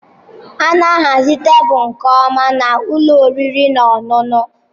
A na-ahazi tebụl nke ọma na ụlọ oriri na ọṅụṅụ.